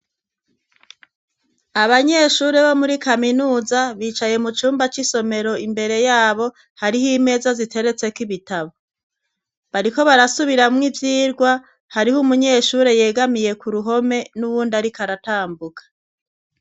Abanyeshure bo muri kaminuza bicaye mu cumba c'isomero, imbere yabo hariho imeza ziteretseko ibitabo. Bariko barasubiramwo ivyirwa, hariho umunyeshure yegamiye ku ruhome n'uwundi ariko aratambuka.